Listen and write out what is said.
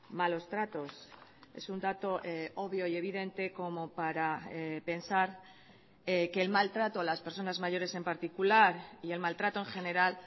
malos tratos es un dato obvio y evidente como para pensar que el maltrato a las personas mayores en particular y el maltrato en general